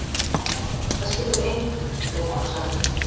Það skiptir engu gætir þú sagt.